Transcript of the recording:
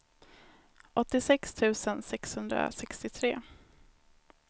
åttiosex tusen sexhundrasextiotre